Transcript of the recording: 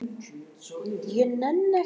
Ég vil ekki orða það þannig.